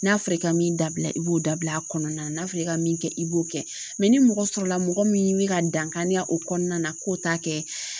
N'a fɔra i ka min dabila i b'o dabila a kɔnɔna na n'a fɔra i ka min kɛ i b'o kɛ ni mɔgɔ sɔrɔla mɔgɔ min bɛ ka dankariya o kɔnɔna na k'o ta kɛ.